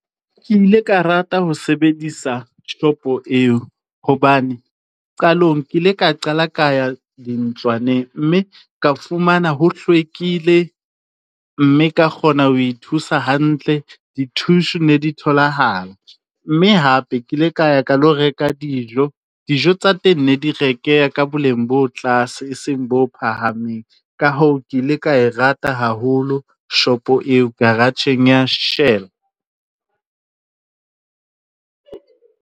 Ke ile ka rata ho sebedisa shopo eo, hobane qalong ke ile ka qala ka ya dintlwaneng mme ka fumana ho hlwekile, mme ka kgona ho thusa hantle. Ditissue ne di tholahala, mme hape ke ile ka ya ka lo reka dijo. Dijo tsa teng ne di rekeha ka boleng bo tlase e seng bo phahameng. Ka hoo, ke ile ka e rata haholo shopo eo, garage-eng ya Shell.